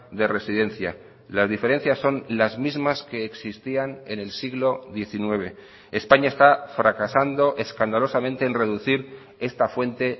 de residencia las diferencias son las mismas que existían en el siglo diecinueve españa está fracasando escandalosamente en reducir esta fuente